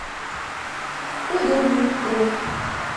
удобный бронь